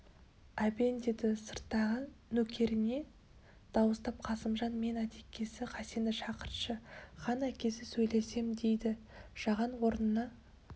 әбен деді сырттағы нөкеріне дауыстап қасымжан мен атекесі хасенді шақыртшы хан әкесі сөйлесем дейді жаған орнына